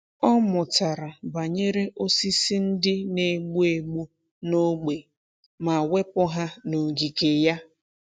Ọ mụtara banyere osisi ndị na-egbu egbu n’ógbè ma wepụ ha n’ogige ya.